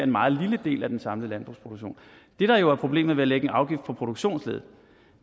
meget lille del af den samlede landbrugsproduktion det der jo er problemet ved at lægge en afgift på produktionsleddet